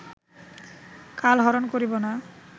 কালহরণ করিব না